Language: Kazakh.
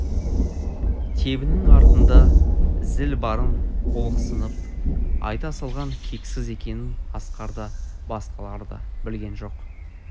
тебенің артында зіл барын ұлықсынып айта салған кексіз екенін асқар да басқалар да білген жоқ